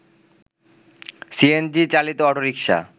CNG চালিত autorickshaw